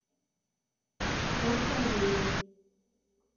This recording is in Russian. проше алеевой